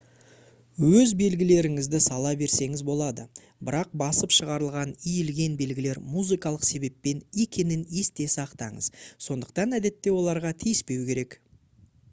өз белгілеріңізді сала берсеңіз болады бірақ басып шығарылған иілген белгілер музыкалық себеппен екенін есте сақтаңыз сондықтан әдетте оларға тиіспеу керек